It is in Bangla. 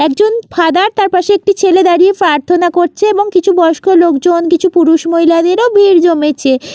একজন ফাদার তারপাশে একটি ছেলে দাঁড়িয়ে প্রার্থনা করছে এবং কিছু বয়স্ক লোকজন কিছু পুরুষ মহিলাদেরও ভিড় জমেছে ।